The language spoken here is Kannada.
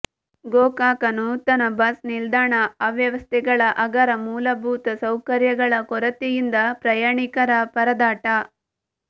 ಗೋಕಾಕ ನೂತನ ಬಸ್ ನಿಲ್ದಾಣ ಅವ್ಯವಸ್ಥೆಗಳ ಅಗರ ಮೂಲಭೂತ ಸೌಕರ್ಯಗಳ ಕೊರತೆಯಿಂದ ಪ್ರಯಾಣಿಕರ ಪರದಾಟ